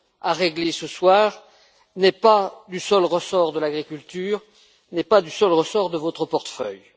à régler ce soir n'est pas du seul ressort de l'agriculture et n'est pas du seul ressort de votre portefeuille.